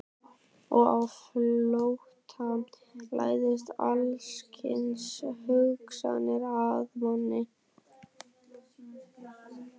Og á flótta læðast alls kyns hugsanir að manni.